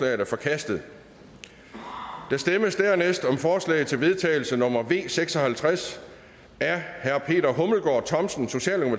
er forkastet der stemmes dernæst om forslag til vedtagelse nummer v seks og halvtreds af peter hummelgaard thomsen